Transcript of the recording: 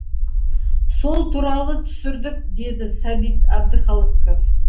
сол туралы түсірдік деді сәбит әбдіхалықов